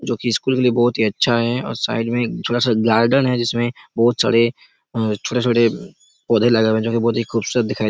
जो की स्कूल के लिए बहुत अच्छा हैं और थोड़ा साइड में गार्डन हैं जिसमें बहुत सारे और छोटे-छोटे पौधा लगे हुए हैं जो की बहुत ही खूबसूरत दिखाई--